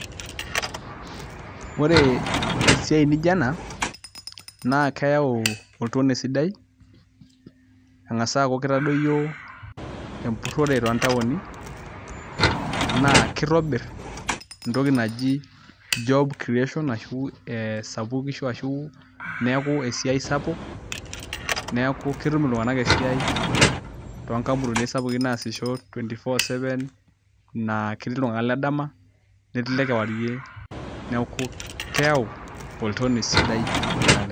Ore esiai nijio ena naa keyau oltonei sidai eng'asa aaku kitadoyio empurrore toontaoni naa kitobirr entoki job creation arashu ee sapukisho ashu neeku esiai sapuk neeku ketum iltung'anak esiai toonkampunini sapukin naasisho 24/7 naa ketii iltung'anak le dama netii ile kewarrie neeku keyau oltoniei sidai naleng'.